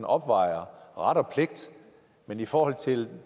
afvejer ret og pligt men i forhold til